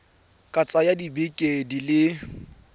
ka tsaya dibeke di le